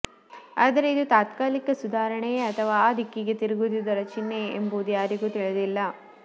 ಆದರೆ ಇದು ತಾತ್ಕಾಲಿಕ ಸುಧಾರಣೆಯೇ ಅಥವಾ ಆ ದಿಕ್ಕಿಗೆ ತಿರುಗಿದುದರ ಚಿಹ್ನೆಯೇ ಎಂಬುದು ಯಾರಿಗೂ ತಿಳಿದಿಲ್ಲ